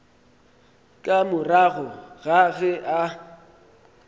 ka morago ga ge a